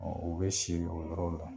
u be si o yɔrɔ la.